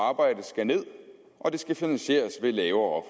arbejde skal ned og at det skal finansieres ved lavere